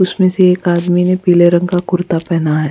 उसमें से एक आदमी ने पीले रंग का कुर्ता पहना है।